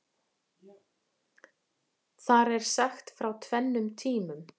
Þar er sagt frá tvennum tímum.